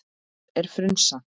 Hvað er frunsa?